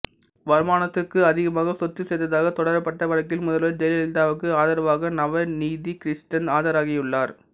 வருமானத்துக்கு அதிகமாக சொத்து சேர்த்ததாக தொடரப்பட்ட வழக்கில் முதல்வர் ஜெயலலிதாவுக்கு ஆதரவாக நவநீதகிருஷ்ணன் ஆஜராகியுள்ளார்